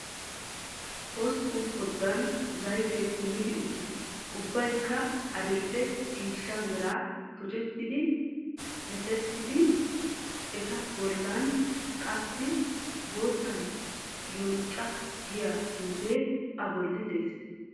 Hosppun koddan zayttee kummidi uttiis. ubbaykka adi"le ciishsha mera tuchchati diccettidi, eta bollan kassi boottan yonca giyaa xuufe a bolli dees.